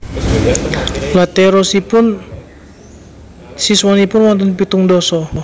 Lha terosipun siswanipun wonten pitung ndasa?